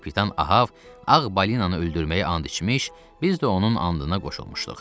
Kapitan Ahav ağ balinanı öldürməyə and içmiş, biz də onun andına qoşulmuşduq.